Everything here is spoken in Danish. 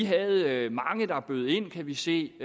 havde mange der bød ind kan vi se